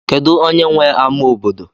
kedu onye nwe ama obodo